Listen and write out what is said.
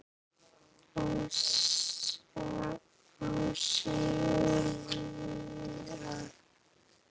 Ásta Júlía.